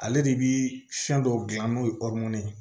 Ale de bi fɛn dɔw gilan n'o ye ye